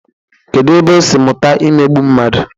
Kedu ebe o si mụta imegbu mmadu?